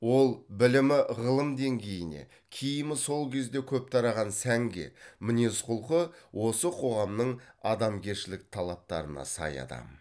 ол білімі ғылым деңгейіне киімі сол кезде көп тараған сәнге мінезқұлқы осы қоғамның адамгершілік талаптарына сай адам